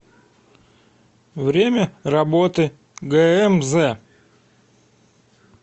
время работы гээмзэ